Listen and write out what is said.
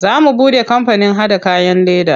Za mu buɗe kampanin haɗa kayan leda.